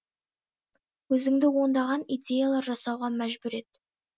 өзіңді ондаған идеялар жасауға мәжбүр ет